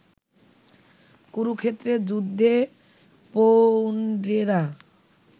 কুরুক্ষেত্রের যুদ্ধে পৌণ্ড্রেরা